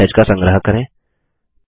तीसरे मैसेज का संग्रह करें